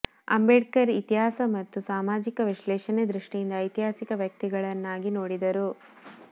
ಅಂಬೇಡ್ಕರ್ ಇತಿಹಾಸ ಮತ್ತು ಸಾಮಾಜಿಕ ವಿಶ್ಲೇಷಣೆ ದೃಷ್ಟಿಯಿಂದ ಐತಿಹಾಸಿಕ ವ್ಯಕ್ತಿಗಳನ್ನಾಗಿ ನೋಡಿದರು